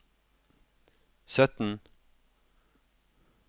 sytten